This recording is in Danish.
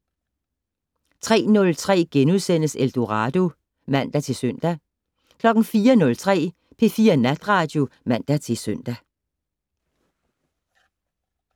03:03: Eldorado *(man-søn) 04:03: P4 Natradio (man-søn)